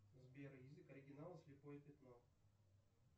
сбер язык оригинала слепое пятно